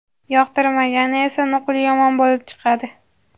yoqtirmagani esa nuqul yomon bo‘lib chiqadi.